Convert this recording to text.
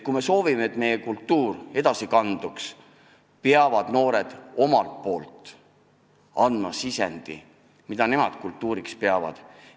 Kui me soovime, et meie kultuur edasi kanduks, peavad noored omalt poolt andma sisendi, mida nemad kultuuriks peavad.